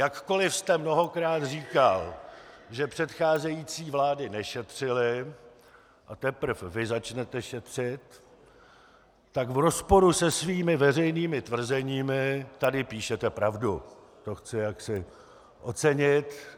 Jakkoliv jste mnohokrát říkal, že předcházející vlády nešetřily a teprve vy začnete šetřit, tak v rozporu se svými veřejnými tvrzeními tady píšete pravdu, to chci jaksi ocenit.